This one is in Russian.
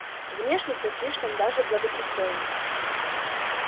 внешне всё слишком даже благопристойно